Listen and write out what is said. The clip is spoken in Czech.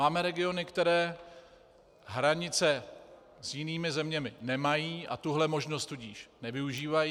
Máme regiony, které hranice s jinými zeměmi nemají, a tuhle možnost tudíž nevyužívají.